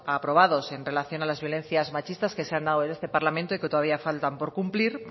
aprobados en relación a las violencias machistas que se han dado en este parlamento y que todavía faltan por cumplir